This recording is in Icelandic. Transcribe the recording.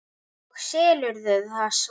Og selurðu það svo?